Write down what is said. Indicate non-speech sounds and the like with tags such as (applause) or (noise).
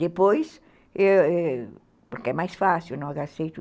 Depois, (unintelligible) porque é mais fácil, não aceito.